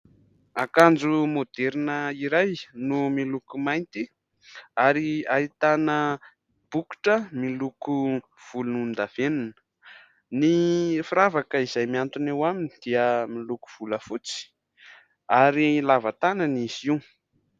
Akanjo moderina iray, no miloko mainty; ary ahitana bokotra miloko volondavenina; ny firavaka izay mihantona eo aminy dia miloko volafotsy ary lava tanana izy io.